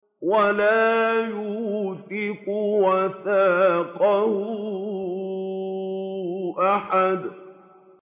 وَلَا يُوثِقُ وَثَاقَهُ أَحَدٌ